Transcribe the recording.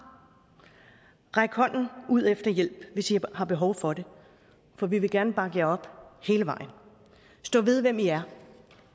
ræk hånden ud efter hjælp hvis i har behov for det for vi vil gerne bakke jer op hele vejen stå ved hvem i er